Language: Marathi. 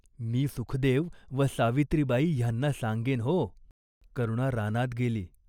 एका ठिकाणी रडत बसली. तेथे तिला झोप लागली.